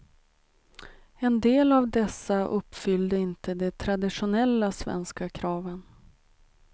En del av dessa uppfyllde inte de traditionella svenska kraven.